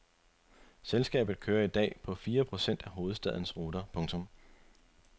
Selskabet kører i dag på fire procent af hovedstadens ruter. punktum